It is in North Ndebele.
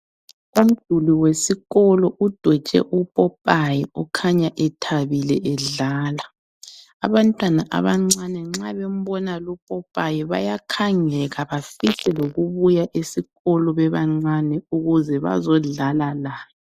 Umduli wesikolo udwetshwe upopayi okhanya ethabile edlala, abantwana abancane nxa bembona lupopayi bayakhangeka bafise lokubuya esikolo bebancane ukuze bazodlala laye.